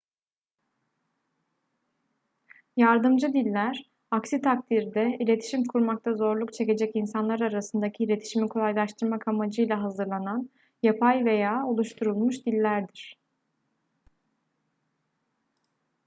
yardımcı diller aksi takdirde iletişim kurmakta zorluk çekecek insanlar arasındaki iletişimi kolaylaştırmak amacıyla hazırlanan yapay veya oluşturulmuş dillerdir